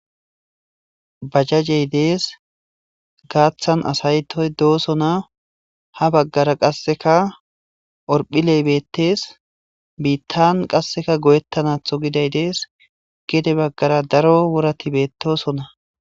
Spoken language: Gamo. bajjajey dees gaaththan asaytoy doosona ha baggara qasseka orphi leybettees biittan qasseka goyettanatho giday dees gede baggara daro worati beettosona